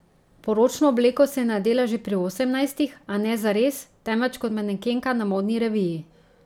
Poročno obleko si je nadela že pri osemnajstih, a ne zares, temveč kot manekenka na modni reviji.